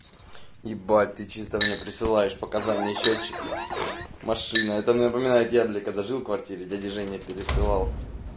ебать ты чисто мне присылаешь показания счётчика машина это мне напоминает когда жил в квартире дядя женя пересылал